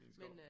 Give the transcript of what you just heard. I en skov